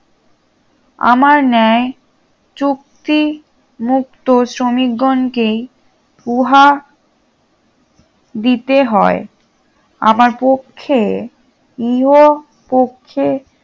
আমার ন্যায় চুক্তি মুক্ত শ্রমিকগণকেই উহা দিতে হয় আমার পক্ষে ইহ পক্ষে